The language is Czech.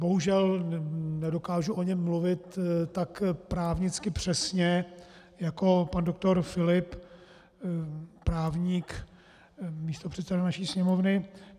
Bohužel nedokážu o něm mluvit tak právnicky přesně jako pan doktor Filip, právník, místopředseda naší Sněmovny.